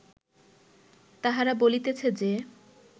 তাহারা বলিতেছে যে